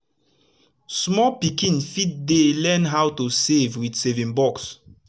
small pikin fit dey learn how to save with saving box